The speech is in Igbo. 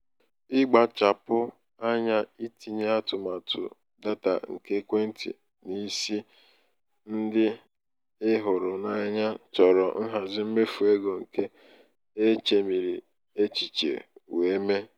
ịkpachapụ anya tinye atụmatụ data nke ekwentị n'isi ndị ị hụrụ n'anya chọrọ nhazi mmefu ego nke e chemiri echiche wee mee.